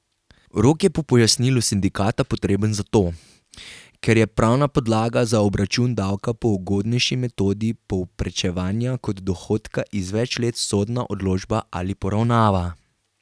Rok je po pojasnilu sindikata potreben zato, ker je pravna podlaga za obračun davka po ugodnejši metodi povprečenja kot dohodka iz več let sodna odločba ali poravnava.